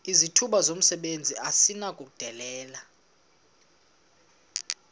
izithuba zomsebenzi esinokuzidalela